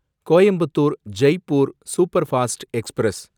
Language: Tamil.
Coimbatore Jaipur superfast express